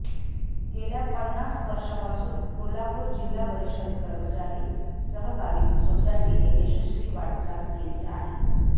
गेल्या पन्नास वर्षापासून कोल्हापूर जिल्हा परिषद कर्मचारी सहकारी सोसायटीने यशस्वी वाटचाल केली आहे